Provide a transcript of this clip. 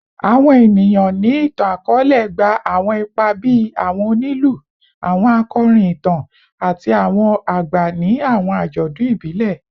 Awọn eniyan ni itan-akọọlẹ gba awọn ipa bii awọn onilu, awọn akọrin itan, ati awọn agba ni awọn ajọdun ibile